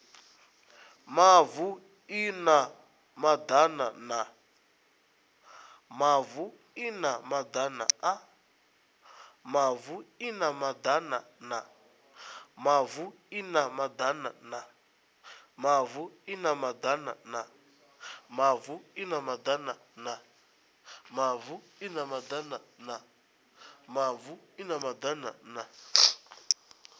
mavu i na madana na